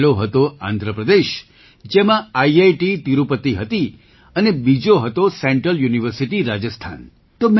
પહેલો હતો આંધ્ર પ્રદેશ જેમાં આઈઆઈટી તિરુપતિ હતી અને બીજો હતો સેન્ટ્રલ યુનિવર્સિટી રાજસ્થાન